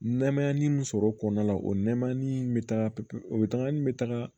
Nɛmaya ni sɔrɔ kɔnɔna la o nɛma ni bɛ taga pepe o tangani bɛ taga